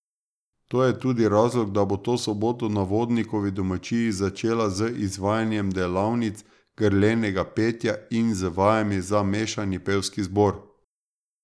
To je tudi razlog, da bo to soboto na Vodnikovi domačiji, začela z izvajanjem delavnic grlenega petja in z vajami za mešani pevski zbor.